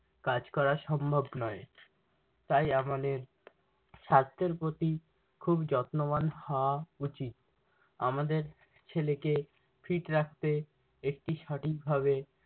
কাজ করা সম্ভব নয়। তাই আমাদের স্বাস্থ্যের প্রতি খুব যত্নবান হওয়া উচিৎ। আমাদের ছেলেকে fit রাখতে একটি সঠিক ভাবে